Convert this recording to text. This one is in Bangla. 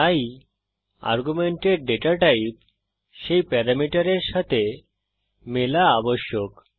তাই আর্গুমেন্টের ডেটা টাইপ সেই প্যারামিটারের সাথে মেলা আবশ্যক